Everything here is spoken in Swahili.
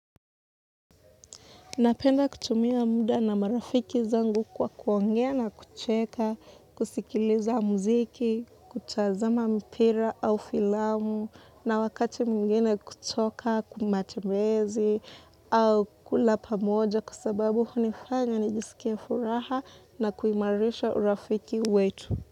Napenda kutumia muda na marafiki zangu kwa kuongea na kucheka, kusikiliza muziki, kutazama mpira au filamu na wakati mwingine kutoka, kwa matembezi au kula pamoja kwa sababu hunifanya nijisikie furaha na kuimarisha urafiki wetu.